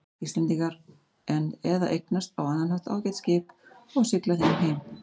Íslendingar eða eignast á annan hátt ágæt skip og sigla þeim heim.